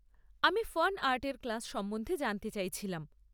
আমি ফানআর্টের ক্লাস সম্বন্ধে জানতে চাইছিলাম।